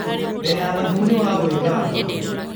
Ndĩna thabuni waa gwĩthamba